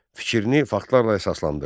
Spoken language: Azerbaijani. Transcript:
Fikrini faktlarla əsaslandır.